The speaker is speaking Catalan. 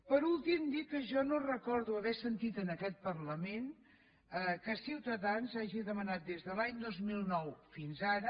per últim dir que jo no recordo haver sentit en aquest parlament que ciutadans hagi demanat des de l’any dos mil nou fins ara